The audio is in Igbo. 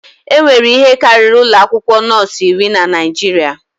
Enwere ihe karịrị ụlọ akwụkwọ nọọsụ iri na Naịjirịa.